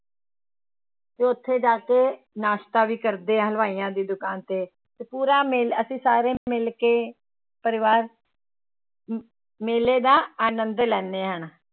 ਤੇ ਉੱਥੇ ਜਾ ਕੇ ਨਾਸਤਾ ਵੀ ਕਰਦੇ ਹਾਂ ਹਲਵਾਈਆਂ ਦੀ ਦੁਕਾਨ ਤੇ, ਤੇ ਪੂਰਾ ਮੇ ਅਸੀਂ ਸਾਰੇ ਮਿਲ ਕੇ ਪਰਿਵਾਰ ਮੇਲੇ ਦਾ ਅਨੰਦ ਲੈਂਦੇ ਹਾਂ